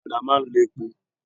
Ọ̀kadà máa ń lo epo.